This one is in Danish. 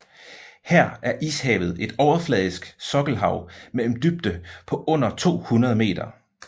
Her er Ishavet et overfladisk sokkelhav med en dybde på under 200 meter